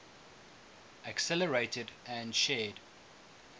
accelerated and shared